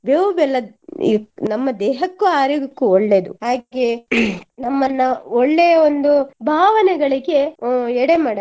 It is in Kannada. ಬೇವು ಬೆಲ್ಲ ನಮ್ಮ ದೇಹಕ್ಕೂ ಆರೋಗ್ಯಕ್ಕೂ ಒಳ್ಳೇದು ಯಾಕೆ ನಮನ್ನ ಒಳ್ಳೆಯ ಒಂದು ಭಾವನೆಗಳಿಗೆ ಅಹ್ ಎಡೆ ಮಾಡತ್ತೆ